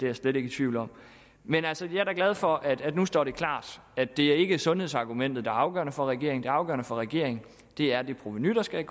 jeg slet ikke i tvivl om men altså jeg er da glad for at det nu står klart at det ikke er sundhedsargumentet der er afgørende for regeringen det afgørende for regeringen er det provenu der skal